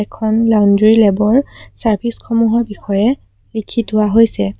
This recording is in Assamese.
এখন লন্দ্ৰী লেব ৰ চাৰ্ভিছ সমূহৰ বিষয়ে লিখি থোৱা হৈছে।